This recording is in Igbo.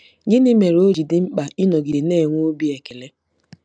Gịnị mere o ji dị mkpa ịnọgide na-enwe obi ekele?